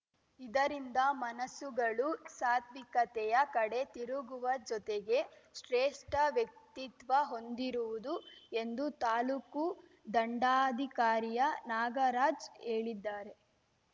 ಇದರಿಂದ ಮನಸ್ಸುಗಳು ಸಾತ್ವಿಕತೆಯ ಕಡೆ ತಿರುಗುವ ಜೊತೆಗೆ ಶ್ರೇಷ್ಠ ವ್ಯಕ್ತಿತ್ವ ಹೊಂದಿರುವುದು ಎಂದು ತಾಲೂಕು ದಂಡಾಧಿಕಾರಿಯ ನಾಗರಾಜ್‌ ಹೇಳಿದ್ದಾರೆ